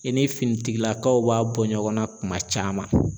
I ni finitigilakaw b'a bɔ ɲɔgɔnna kuma caman.